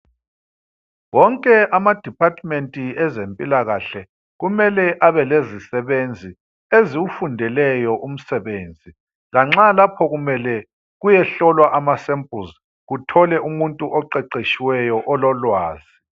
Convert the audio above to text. Wonke amadepartment ezempilakahle kumele abe lezisebenzi eziwufundeleyo umsebenzi. Lanxa lapho kumele kuyehlolwa amasamples uthole umuntu oqeqetshileyo ololwazi.